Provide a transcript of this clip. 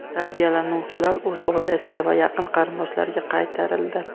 Tarbiyalanuvchilar o‘z oilasiga va yaqin qarindoshlariga qaytarildi.